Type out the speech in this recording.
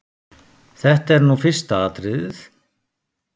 Þetta er nú fyrsta atriðið.